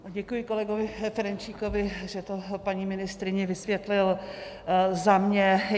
Děkuji kolegovi Ferjenčíkovi, že to paní ministryni vysvětlil za mě.